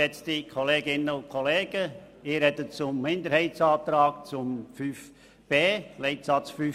Ich spreche zum Minderheitsantrag zu Leitsatz 5b.